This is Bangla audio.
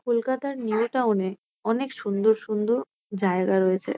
কলকাতার নিউ টাউন এ অনেক সুন্দর সুন্দর জায়গা রয়েছে।